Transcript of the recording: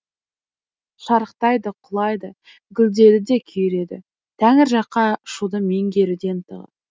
шарықтайды құлайды гүлдеді де күйреді тәңір жаққа ұшуды меңгеруде ынтығы